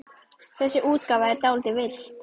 Þessi útgáfa er dálítið villt.